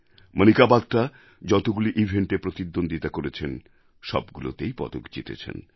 মণিকা বাত্রা যতগুলি ইভেণ্টএ প্রতিদ্বন্দ্বিতা করেছেন সবগুলিতেই পদক জিতেছেন